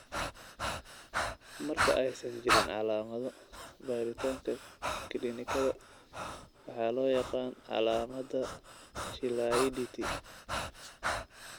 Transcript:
Marka aysan jirin calaamado, baaritaanka kiliinikada waxaa loo yaqaan calaamadda Chilaiditi.